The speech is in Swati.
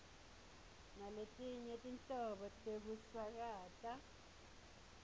naletinye tinhlobo tekusakata